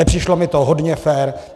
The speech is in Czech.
Nepřišlo mi to hodně fér.